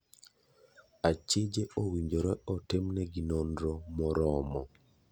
Achije owinjore otim ne gi nonro moromo.